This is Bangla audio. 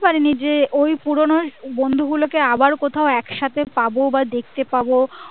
যে ওই পুরোনো বন্ধুগু লোকে আবার কোথাও একসাথে পাবো না দেখতে পাবো